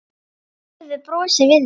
Og lífið brosir við þér!